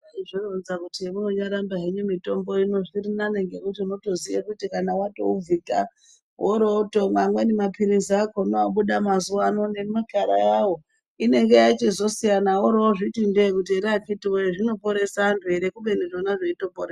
Vozvironza kuti monyaramba henyu mitombo inonzvirinane ngekuti unotodziya kuti kana watouvhita worotomwa amweni maphirizi akonano obuda mazuwano nemakara ayao inenge yachozosiya worotindee kuti ere akitiwoye zvinoperesa natubere kubeni zveitoporesa.